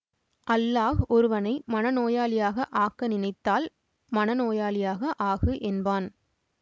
அல்லாஹ் ஒருவனை மன நோயாளியாக ஆக்க நினைத்தால் மன நோயாளியாக ஆகு என்பான்